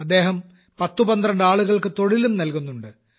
അദ്ദേഹം 10 12 ആളുകൾക്ക് തൊഴിലും നൽകുന്നുണ്ട്